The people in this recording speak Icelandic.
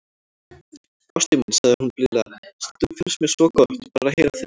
Ástin mín, sagði hún blíðlega,- stundum finnst mér svo gott, bara að heyra þig tala.